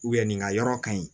nin ka yɔrɔ ka ɲi